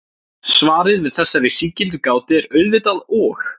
Svarið við þessari sígildu gátu er auðvitað og.